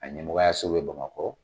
A ɲɛmɔgɔyaso bɛ Bamakɔ.